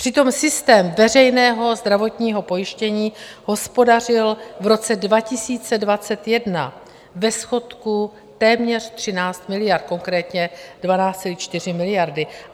Přitom systém veřejného zdravotního pojištění hospodařil v roce 2021 ve schodku téměř 13 miliard, konkrétně 12,4 miliardy.